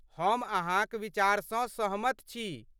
हम अहाँक विचारसँ सहमत छी।